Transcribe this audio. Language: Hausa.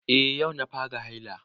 Eh yau na fara haila